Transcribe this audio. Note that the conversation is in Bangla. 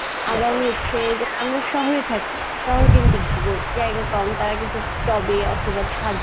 আবার হচ্ছে যে আমরা শহরে থাকি শহর কেন্দ্রিক জীবন জায়গা কম তারা কিন্তু টবে অথবা ছাদে